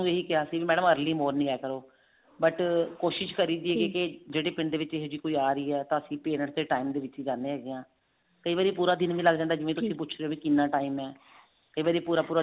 ਇਹੀ ਕਿਹਾ ਸੀ ਵੀ madam early morning ਆਇਆ ਕਰੋ but ਕੋਸ਼ਿਸ਼ ਕਰੀਦੀ ਏ ਕੇ ਜਿਹੜੇ ਪਿੰਡ ਦੇ ਵਿੱਚ ਇਹੋ ਜਿਹੀ ਕੋਈ ਆ ਰਹੀ ਹੈ ਤਾਂ ਅਸੀਂ parents ਦੇ time ਦੇ ਵਿੱਚ ਹੀ ਜਾਨੇ ਹੈਗੇ ਹਾਂ ਕਈ ਵਾਰੀ ਪੂਰਾ ਦਿਨ ਵੀ ਲੱਗ ਜਾਂਦਾ ਵੀ ਤੁਸੀਂ ਪੁੱਛਦੇ ਹੋ ਕਿੰਨਾ time ਹੈ ਕਈ ਵਾਰੀ ਪੂਰਾ ਪੂਰਾ